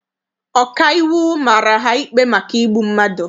Ọkaiwu mara ha ikpe maka igbu mmadụ.